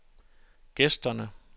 gæsterne